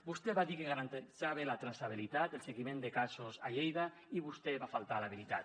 vostè va dir que garantia la traçabilitat el seguiment de casos a lleida i vostè va faltar a la veritat